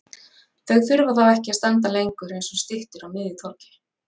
Þau þurfa þá ekki að standa lengur eins og styttur á miðju torgi.